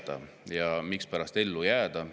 Mispärast et ellu jääda?